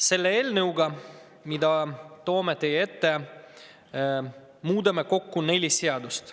Selle eelnõuga, mille toome teie ette, muudame kokku nelja seadust.